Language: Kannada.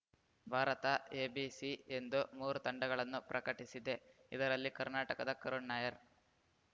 ಭಾರತ ಎ ಬಿ ಸಿ ಎಂದು ಮೂರು ತಂಡಗಳನ್ನು ಪ್ರಕಟಿಸಿದೆ ಇದರಲ್ಲಿ ಕರ್ನಾಟಕದ ಕರುಣ್‌ ನಾಯರ್‌